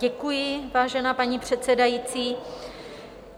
Děkuji, vážená paní předsedající.